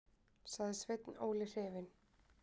sagði Sveinn Óli hrifinn.